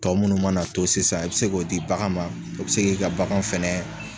Tɔ munnu mana to sisan i bɛ se k'o di bagan ma o bɛ se k'i ka bagan fɛnɛ